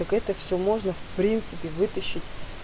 так это всё можно в принципе вытащить